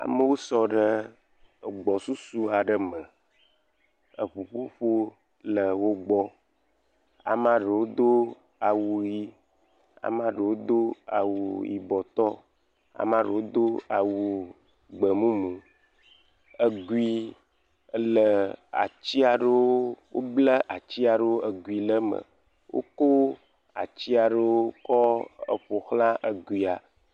Amewo sɔ ɖe agbsɔsɔ aɖe me eŋuƒoƒo le wo gbɔ. Ame aɖewo do awu ʋi, ame aɖewo do awu yibɔtɔ, ame aɖewo do awu gbemumu. Egui ele atsi aɖewo, woble atsi aɖewo egui le eme. Wokɔ atsi aɖewo eƒoxla eguia.